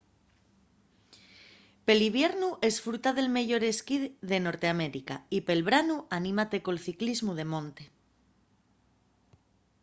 pel iviernu esfruta del meyor esquí de norteamérica y pel branu anímate col ciclismu de monte